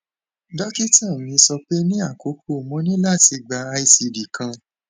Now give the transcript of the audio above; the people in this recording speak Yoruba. dokita mi sọpe ni akọkọ mo ni lati gba icd kan